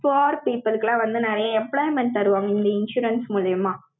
poor people க்கு people க்கு எல்லாம் வந்து, நிறைய employment தருவாங்க, இந்த insurance மூலியமா.